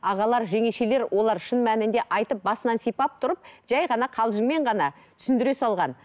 ағалар жеңешелер олар шын мәнінде айтып басынан сипап тұрып жай ғана қалжыңмен ғана түсіндіре салған